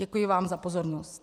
Děkuji vám za pozornost.